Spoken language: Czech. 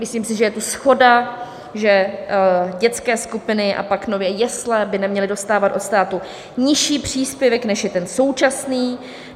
Myslím si, že je tu shoda, že dětské skupiny a pak nově jesle by neměly dostávat od státu nižší příspěvek, než je ten současný.